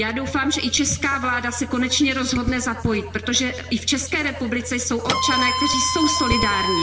Já doufám, že i česká vláda se konečně rozhodne zapojit, protože i v České republice jsou občané, kteří jsou solidární.